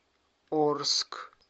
орск